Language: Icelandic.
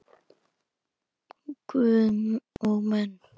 Guð og menn.